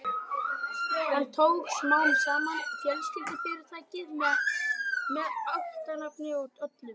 Hann tók smám saman yfir fjölskyldufyrirtækið með ættarnafni og öllu.